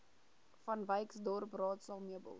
vanwyksdorp raadsaal meubels